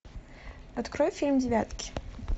открой фильм девятки